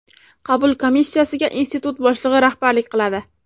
Qabul komissiyasiga Institut boshlig‘i rahbarlik qiladi.